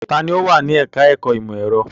Ta ni ó wà ní ẹ̀ka-ẹ̀kọ́ ìmọ̀-ẹ̀rọ?